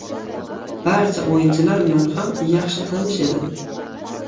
Barcha o‘yinchilar bilan ham yaxshi tanish edim.